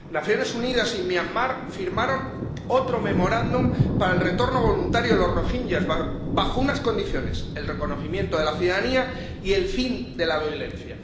Las Naciones Unidas y Myanmar firmaron otro memorándum para el retorno voluntario de los rohinyás bajo unas condiciones el reconocimiento de la ciudadanía y el fin de la violencia.